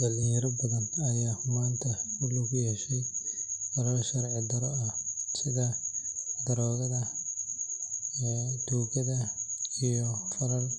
Dhalinyaro badan ayaa maanta ku lug yeesha falal sharci darro ah sida daroogada, tuugada, iyo falalka